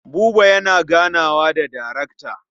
Buba yana ganawa da darekta.